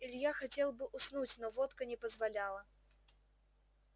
илья хотел бы уснуть но водка не позволяла